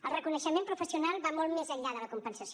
el reconeixement professional va molt més enllà de la compensació